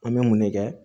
An bɛ mun ne kɛ